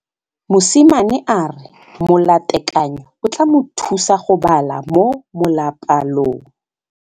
Mosimane a re molatekanyô o tla mo thusa go bala mo molapalong.